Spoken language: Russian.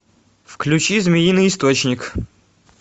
включи змеиный источник